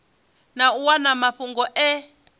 na u wana mafhungo e